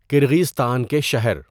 کرغیزستان کے شہر